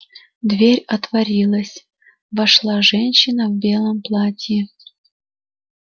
дверь отворилась вошла женщина в белом платье